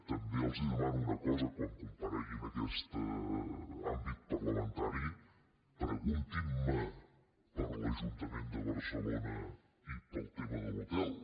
també els demano una cosa quan comparegui en aquest àmbit parlamentari preguntin·me per l’ajun·tament de barcelona i pel tema de l’hotel